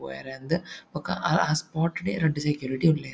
ಪೋಯೆರೆ ಅಂದ್ ಬೊಕ್ಕ ಆ ಹಾ ಸ್ಪಾಟ್ ಡೆ ರಡ್ಡ್ ಸೆಕ್ಯುರಿಟಿ ಉಲ್ಲೆರ್.